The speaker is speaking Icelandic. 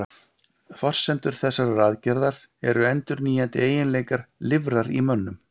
forsendur þessarar aðgerðar eru endurnýjandi eiginleikar lifrar í mönnum